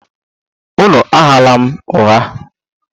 Unu aghala m ụgha!